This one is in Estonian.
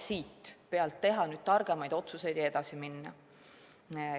Selle põhjal tuleb teha targemaid otsuseid ja edasi minna.